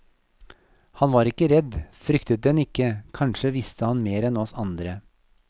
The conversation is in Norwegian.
Han var ikke redd, fryktet den ikke, kanskje visste han mer enn oss andre.